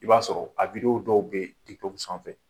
I b'a sɔrɔ a dɔw bɛ ye sanfɛ